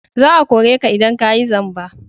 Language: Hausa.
Za a kore ka idan ka yi zamba!